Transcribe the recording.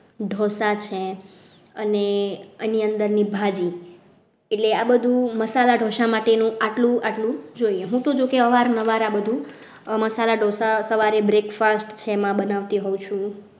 ઢોસા છે અને એની અંદરની ભાજી એટલે આ બધું મસાલા ઢોસા માટે આટલું જોઈએ હું તો જો કે અવારનવાર આ બધું મસાલા ઢોસા સવારે breakfast છે એમાં હું બનાવતી હોઉં છું.